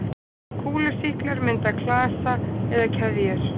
Kúlusýklar mynda klasa eða keðjur.